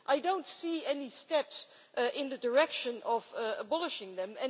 I do not see any steps in the direction of abolishing them.